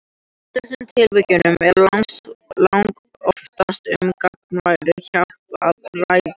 Í þessum tilvikum er langoftast um gagnkvæma hjálp að ræða.